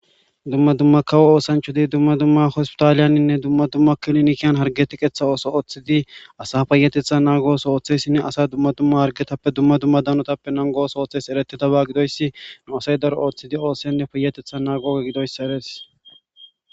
dumma dumma kawo oosanchodi dumma dumma hospitaaliyaninne dumma dumma kilonkiyan hargetiqetha ooso ooththidi asa payatetha naagooso ooththessinne asa dumma dumma hargetappe dumma dumma danotappe nangoos ooththes eretidaba gidoyssi nu asay daro ooththidi oosenne payatetha naagoge gidoyssa res